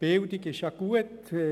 Bildung ist zwar gut.